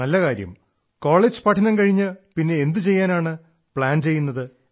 അരേ വാഹ് കോളജ് പഠനം കഴിഞ്ഞ് പിന്നെ എന്തു ചെയ്യാനാണ് പ്ലാൻ ചെയ്യുന്നത്